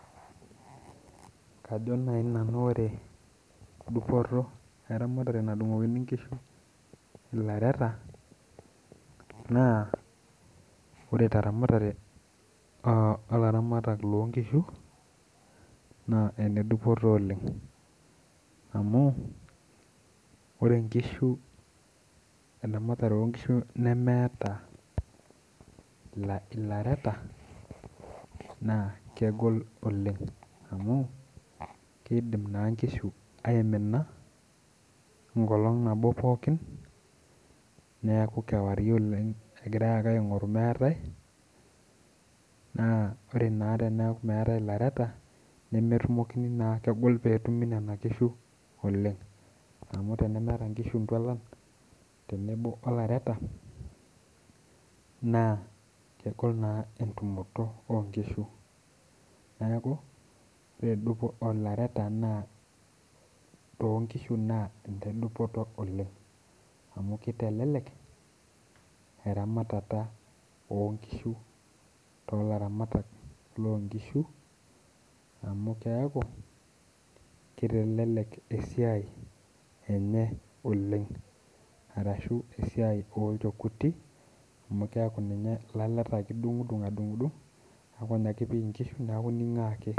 Kajo nai nanu ore dupoto eramatare nadung'okini inkishu ilaleta naa ore te ramatare olaramatak loo inkishu naa enedupoto oleng amu ore inkishu, eramatare oonkishu nemeeta ilaleta naa kegolo oleng amu keidim naa inkishu aimina nkolong nabo pookin, nekau kewarie oleng egirai ake aingoru emeetae, naa kore naa teneaku metae ilaleta nemetumokini naa ,kegol peeetumi nena inkishu oleng, amu tenemeeta inkishu inkishu intualan tenebo olalaeta naa kegol naa entumoto onkishu, naaku endupoto olaleta naa too inkishu naa entoki edupoto oleng amu keitelelek eramatata oonkishu too laramatak loo inkishu amu keaku keitelelek esiai enye oleng arashu esiai oolchekuti amu keaku naa ilaleta ake idung'dung' adung'dung' neaku ninye ake ipik inkishu naaku ining'oo ake.